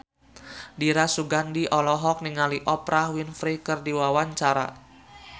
Dira Sugandi olohok ningali Oprah Winfrey keur diwawancara